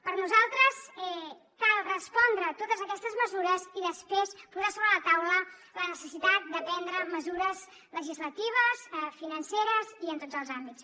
per nosaltres cal respondre totes aquestes preguntes i després posar sobre la taula la necessitat de prendre mesures legislatives financeres i en tots els àmbits